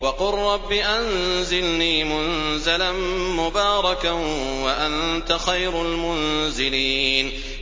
وَقُل رَّبِّ أَنزِلْنِي مُنزَلًا مُّبَارَكًا وَأَنتَ خَيْرُ الْمُنزِلِينَ